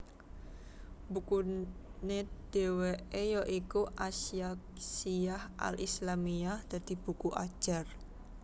Bukune dheweke ya iku As Syakhshiyyah al Islâmiyyah dadi buku ajar